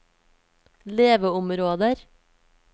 leveområder